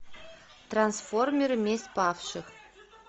трансформеры месть павших